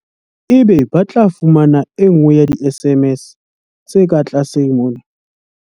Ebe ba tla fumana e nngwe ya di-SMS tse ka tlase mona.